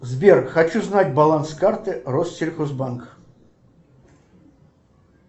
сбер хочу знать баланс карты россельхозбанк